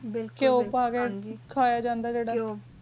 ਬਿਲਕੁਲ ਕੁਯੁ ਪਾ ਕੀ ਖਯਾ ਜਾਨ ਦਾ